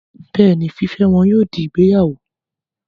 Bẹ́ẹ̀ni, fífẹ́ wọn yóò di ìgbéyàwó